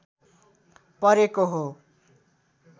परेको हो